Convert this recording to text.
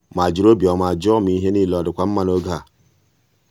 ọ hụrụ mgbanwe ma jiri obiọma jụọ ma ihe niile ọ dịkwa mma n'oge a.